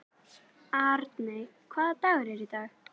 Arney, hvaða dagur er í dag?